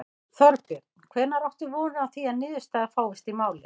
Þorbjörn: Hvenær áttu von á því að niðurstaða fáist í málið?